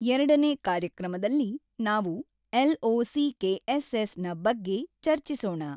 ಎರಡನೇ ಕಾರ್ಯಕ್ರಮದಲ್ಲಿ ನಾವು ಎಲ್.ಒ.ಸಿ.ಕೆ.ಎಸ್.ಎಸ್ ನ ಬಗ್ಗೆ ಚರ್ಚಿಸೋಣ.